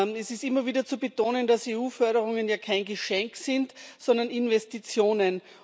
Es ist immer wieder zu betonen, dass EU Förderungen kein Geschenk sind, sondern Investitionen.